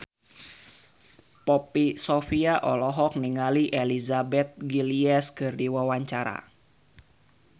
Poppy Sovia olohok ningali Elizabeth Gillies keur diwawancara